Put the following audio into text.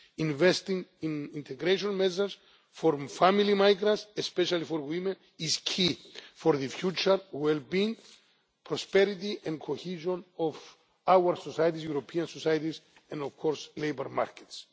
Investing in integration measures for family migrants, especially for women, is key for the future well being, prosperity and cohesion of our societies European societies and, of course, labour markets.